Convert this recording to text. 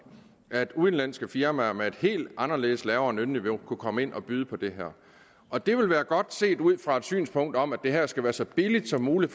at udenlandske firmaer med et helt anderledes lavt lønniveau kunne komme ind og byde på det her og det ville være godt set ud fra et synspunkt om at det her skal være så billigt som muligt